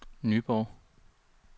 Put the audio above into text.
Nyborg